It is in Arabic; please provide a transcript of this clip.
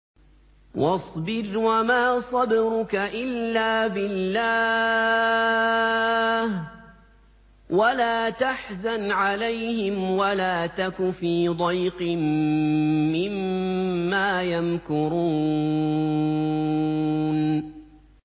وَاصْبِرْ وَمَا صَبْرُكَ إِلَّا بِاللَّهِ ۚ وَلَا تَحْزَنْ عَلَيْهِمْ وَلَا تَكُ فِي ضَيْقٍ مِّمَّا يَمْكُرُونَ